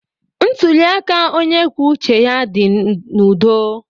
Ntuli aka onye kwuo uche ya dị n'udo.